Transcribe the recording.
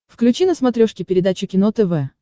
включи на смотрешке передачу кино тв